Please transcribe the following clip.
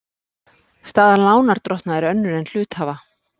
Staða lánardrottna er önnur en hluthafa.